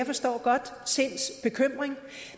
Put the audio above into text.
forstår jeg godt sinds bekymring